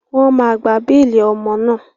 Wọ́n máa gba béèlì ọmọ náà.